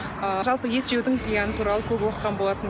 ы жалпы ет жеудің зияны туралы көп оқыған болатынмын